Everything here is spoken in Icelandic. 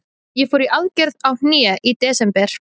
Ég fór í aðgerð á hné í desember.